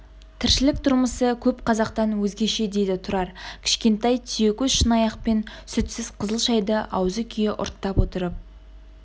тіршілік тұрмысы көп қазақтан өзгеше дейді тұрар кішкентай түйекөз шынаяқпен сүтсіз қызыл шәйді аузы күйе ұрттап отырып